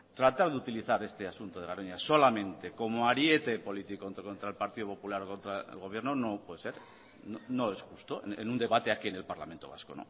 tratar de utilizar este asunto de garoña solamente como ariete político contra el partido popular contra el gobierno no puede ser no es justo en un debate aquí en el parlamento vasco